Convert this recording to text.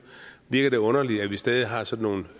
virker det underligt at vi stadig har sådan nogle